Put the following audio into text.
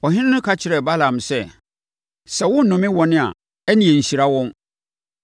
Ɔhene no ka kyerɛɛ Balaam sɛ, “Sɛ worennome wɔn a, ɛnneɛ nhyira wɔn.”